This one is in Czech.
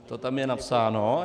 To tam je napsáno.